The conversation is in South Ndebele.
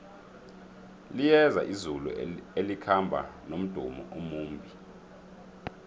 liyeza izulu elikhamba nomdumo omumbi